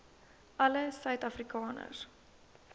alle suid afrikaners